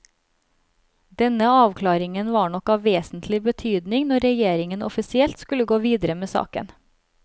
Denne avklaringen var nok av vesentlig betydning når regjeringen offisielt skulle gå videre med saken.